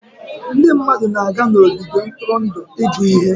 Ndị mmadụ na-aga n'ogige ntụrụndụ ịgụ ihe.